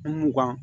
mugan